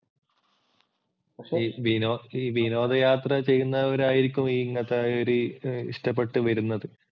ഈ വിനോദയാത്ര ചെയ്യുന്നവരായിരിക്കും ഇങ്ങനത്തെ ഒരി ഇഷ്ടപ്പെട്ട് വരുന്നത്.